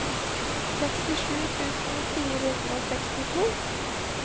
sekstisju tusen fire hundre og sekstito